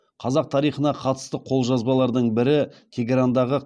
қазақ тарихына қатысты қолжазбалардың бірі тегерандағы